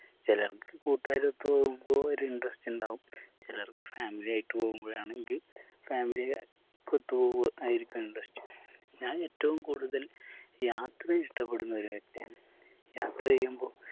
ചിലർക്ക് കൂട്ടുകാരൊത്ത് പോകുമ്പോ ഒരു interest ഇണ്ടാവും ചിലർക്ക് family ആയിട്ട് പോവുമ്പോളാണെങ്കി family ഒത്ത് പോവുമ്പോ ആയിരിക്കും interest ഞാൻ ഏറ്റവും കൂടുതൽ യാത്രയെ ഇഷ്ട്ടപെടുന്ന ഒരു വ്യക്തിയാണ് യാത്ര ചെയ്യുമ്പോ